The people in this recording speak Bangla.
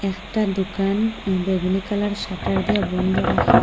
এখটা দোকান বেগুনি কালারের শাটার দিয়া বন্দ রাখা।